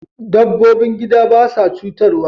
Dabbobin gida ba sa cutarwa.